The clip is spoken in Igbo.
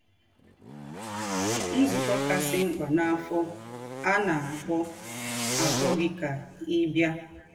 Nzúkọ̄ Kasị Mkpa n’Áfọ̀ — À Na - àkpọ̀ - àkpọ̀ Gị Kà Ị̀ Bịa!